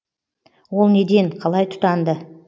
ол неден қалай тұтанды